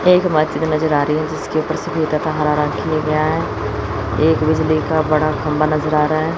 एक बिजली का बड़ा खंभा नजर आ रहा है।